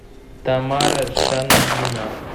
тамара шангина